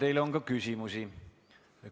Teile on ka küsimusi.